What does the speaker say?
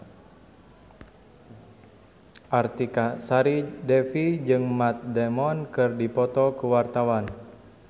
Artika Sari Devi jeung Matt Damon keur dipoto ku wartawan